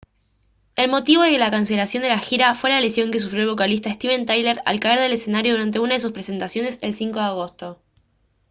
el motivo de la cancelación de la gira fue la lesión que sufrió el vocalista steven tyler al caer del escenario durante una de sus presentaciones el 5 de agosto